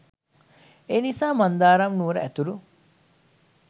ඒනිසා මන්දාරම් නුවර ඇතුළු